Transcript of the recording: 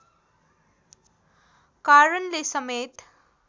कारणले समेत